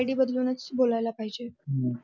ID बदलूनच बोलायला पाहिज हम्म